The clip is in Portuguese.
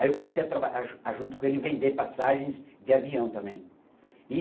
Aí eu passei a traba a jun a junto com ele a vender passagens de avião também. E